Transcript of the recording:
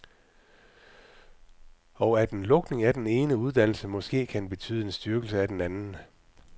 Og at en lukning af den ene uddannelse måske kan betyde en styrkelse af en anden.